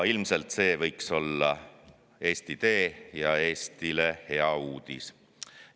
See võiks olla Eesti tee ja Eestile hea uudis.